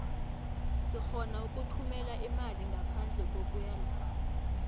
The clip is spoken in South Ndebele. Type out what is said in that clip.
sirhona ukuthumela imali ngaphandle kokuya lapho